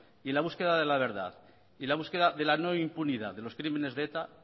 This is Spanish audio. en la búsqueda de la verdad y en la búsqueda de la no impunidad de los crímenes de eta